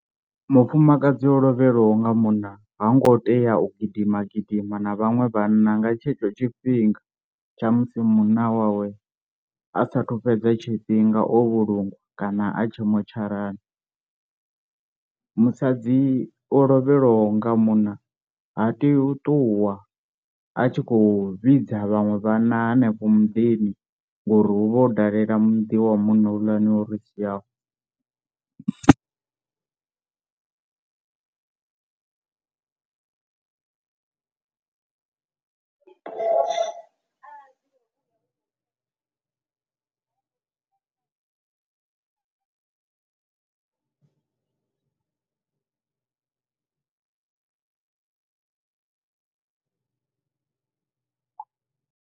Mufumakadzi o lovhelwaho nga munna ha ngo tea u gidima gidima na vhaṅwe vhanna nga tshetsho tshifhinga tsha musi munna wawe asathu fhedza tshifhinga o vhulungwa kana a tshe motsharani, musadzi o lovhelwaho nga munna ha teyi u ṱuwa a tshi khou vhidza vhaṅwe vhanna hanefho mudini ngori hu vha hu u dalela muḓi wa munna houḽani o ri siaho.